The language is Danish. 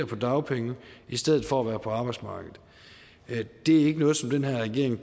på dagpenge i stedet for at være på arbejdsmarkedet det er ikke noget som den her regering